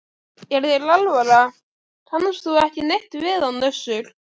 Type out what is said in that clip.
Er þér alvara, kannast þú ekki neitt við hann Össur?